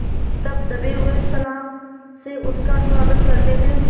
तब दबे हुए सलाम से उसका स्वागत करते थे